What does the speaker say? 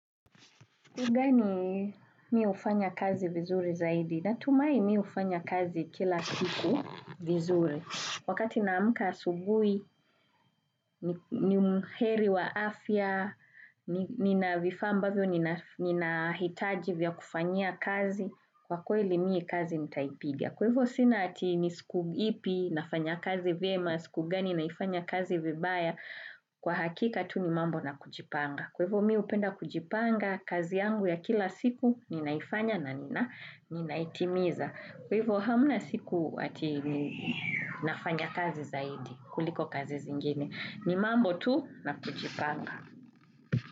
Siku gani mi hufanya kazi vizuri zaidi? Natumai mi hufanya kazi kila siku vizuri. Wakati naamka asubuhi, ni umheri wa afya, nina vifamba vyo, nina hitaji vya kufanya kazi, kwa kwele miu kazi nitaipigia. Kwevo sinati nisikugipi nafanya kazi vema, kugani naifanya kazi vibaya, kwa hakika tu ni mambo na kujipanga. Kwevo mi upenda kujipanga kazi yangu ya kila siku ninaifanya na nina itimiza. Kwevo hamuna siku ati nafanya kazi zaidi kuliko kazi zingine. Ni mambo tu na kujipanga.